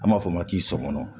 An b'a fɔ o ma k'i sɔmɔnɔ